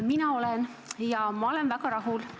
Mina olen ja ma olen väga rahul.